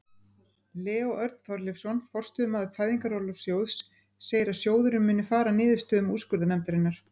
Leó Örn Þorleifsson, forstöðumaður Fæðingarorlofssjóðs segir að sjóðurinn muni fara að niðurstöðum úrskurðarnefndarinnar.